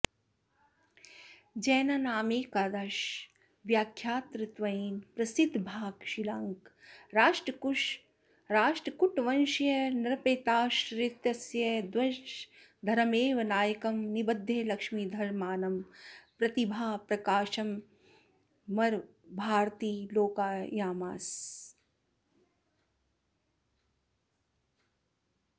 जैनानामेकादशाङ्कव्याख्यातृत्वेन प्रसिद्धिभाक् शीलाङ्कः राष्ट्रकूटवंशीयनृपतेराश्रितस्तद्वंशधरमेव नायकं निबध्य लक्ष्मीधरनामानं प्रतिभाप्रकाशेनामरभारतीमालोकयामास